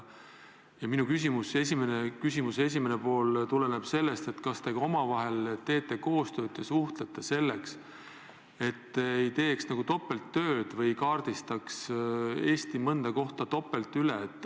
Minu küsimuse esimene pool on selle kohta, kas te teete omavahel koostööd ja suhtlete, et mitte teha topelttööd või kaardistada Eesti mõnda kohta topelt.